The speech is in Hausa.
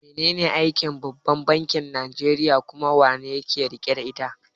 Menene aikin babban bankin Nijeriya kuma, wa yake riƙe da ita?